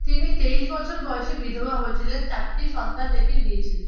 তিনি তেইশ বছর বয়সে বিধবা হয়েছিলেন চারটি সন্তান রেখে গিয়েছিলেন।